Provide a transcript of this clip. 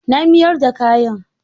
Na mayar da kayan.